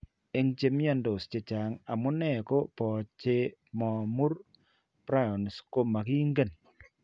Eng' che mnyandos chechang', amune ako po che mo mur prions ko making'en